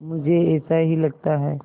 मुझे ऐसा ही लगता है